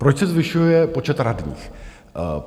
Proč se zvyšuje počet radních?